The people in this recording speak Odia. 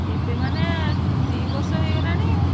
ଏବେ ମାନେ ଦି ବର୍ଷ ହେଇଗଲାଣି ଆଉ।